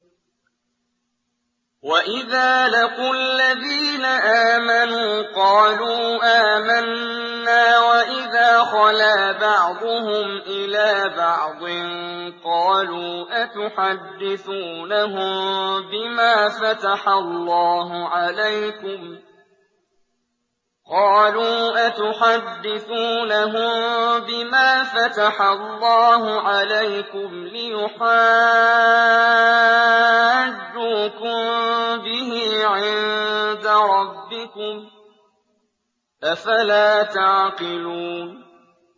وَإِذَا لَقُوا الَّذِينَ آمَنُوا قَالُوا آمَنَّا وَإِذَا خَلَا بَعْضُهُمْ إِلَىٰ بَعْضٍ قَالُوا أَتُحَدِّثُونَهُم بِمَا فَتَحَ اللَّهُ عَلَيْكُمْ لِيُحَاجُّوكُم بِهِ عِندَ رَبِّكُمْ ۚ أَفَلَا تَعْقِلُونَ